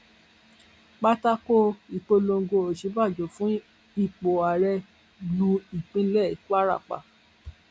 pátákó ìpolongo òsínbàjò fún ipò ààrẹ lu ìpínlẹ kwara pa